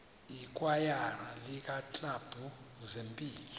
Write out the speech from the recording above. ikwayara iiklabhu zempilo